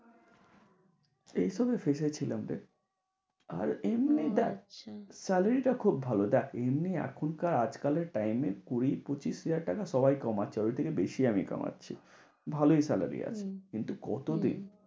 এই সবে fresh হচ্ছিলাম রে। আর এমনি দেখ salary টা খুব ভালো। দেখ এমনি এখনকার আজকালের টাইমের কুড়ি পুছিস হাজার টাকা সবাই কামাচ্ছে। ওর থেকে বেশি আমি কামাচ্ছি। ভালোই salary আছে। কিন্তু কত দিন